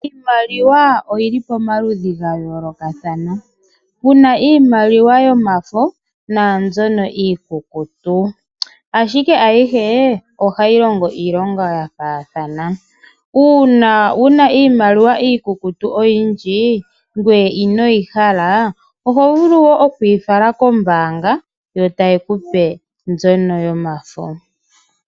Iimaliwa oyili pa maludhi ga yolokathana, puna iimaliwa yomafo na mbyono iikukutu ashike ayishe ohayi longo iilonga ya fathana . Uuna wuna iimaliwa oyiindji iikukutu ngoye inoyi hala oho vulu okuyi fala kombanga yotaye kupe mbyono yomafo